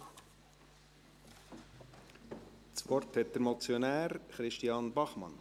Das Wort hat der Motionär, Christian Bachmann.